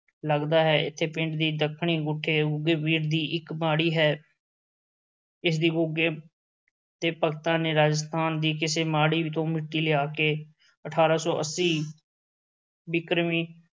ਲੱਗਦਾ ਹੈ, ਇੱਥੇ ਪਿੰਡ ਦੀ ਦੱਖਣੀ ਗੁੱਠੇ ਗੁੱਗੇ ਪੀਰ ਦੀ ਇੱਕ ਮਾੜੀ ਹੈ ਇਸ ਦੀ ਗੁੱਗੇ ਦੇ ਭਗਤਾਂ ਨੇ, ਰਾਜਸਥਾਨ ਦੀ ਕਿਸੇ ਮਾੜੀ ਤੋਂ ਮਿੱਟੀ ਲਿਆ ਕੇ ਅਠਾਰਾਂ ਸੌ ਅੱਸੀ ਬਿਕਰਮੀ